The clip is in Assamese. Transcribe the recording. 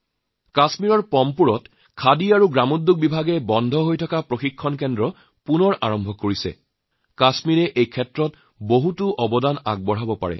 কাশ্মীৰৰ পম্পোৰত বন্ধ হৈ থকা খাদী আৰু গ্ৰামোদ্যোগ প্ৰশিক্ষণ কেন্দ্ৰ পুনৰ আৰম্ভ হৈছে আৰু কাশ্মীৰৰ ওচৰতো এই খণ্ডত কৰিবলগীয়া যথেষ্টখিনি আছে